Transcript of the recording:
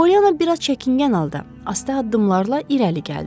Polyana biraz çəkingən halda, asta addımlarla irəli gəldi.